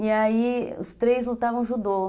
E aí os três lutavam judô.